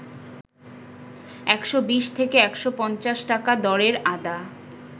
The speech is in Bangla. ১২০ থেকে ১৫০ টাকা দরের আদা